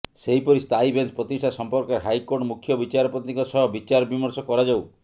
ସେହିପରି ସ୍ଥାୟୀ ବେଞ୍ଚ ପ୍ରତିଷ୍ଠା ସଂପର୍କରେ ହାଇକୋର୍ଟ ମୁଖ୍ୟ ବିଚାରପତିଙ୍କ ସହ ବିଚାରବିମର୍ଶ କରାଯାଉ